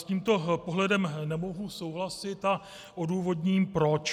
S tímto pohledem nemohu souhlasit a odůvodním proč.